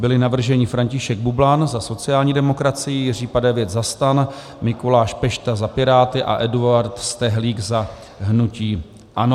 Byli navrženi: František Bublan za sociální demokracii, Jiří Padevět za STAN, Mikuláš Pešta za Piráty a Eduard Stehlík za hnutí ANO.